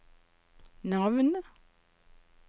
navn